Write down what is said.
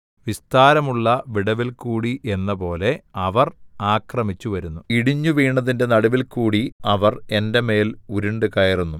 വിസ്താരമുള്ള വിടവിൽകൂടി എന്നപോലെ അവർ ആക്രമിച്ചുവരുന്നു ഇടിഞ്ഞുവീണതിന്റെ നടുവിൽക്കൂടി അവർ എന്റെ മേൽ ഉരുണ്ടുകയറുന്നു